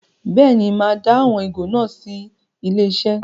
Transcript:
Bẹ́ẹ̀ ni, màá dá àwọn ìgò náà sí ilé-iṣẹ́.